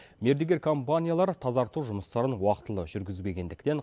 мердігер компаниялар тазарту жұмыстарын уақытылы жүргізбегендіктен